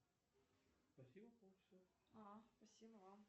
афина включи фильм эдвард руки ножницы